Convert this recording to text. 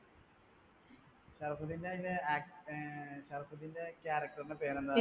ഷറഫുദ്ധീന് അതിനു ആഹ് ഷറഫുദീന്റെ character നു പേരെന്താന്നു